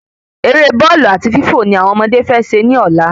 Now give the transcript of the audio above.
Eré Bọ́ọ̀lù àti Fífọ ni àwọn ọmọdé fé se ní Ọ̀la